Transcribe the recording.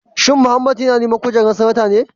Shin Mohammed yana neman kujerar Sanata ne?